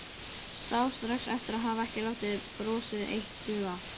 Sá strax eftir að hafa ekki látið brosið eitt duga.